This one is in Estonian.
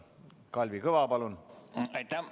Kalvi Kõva, palun!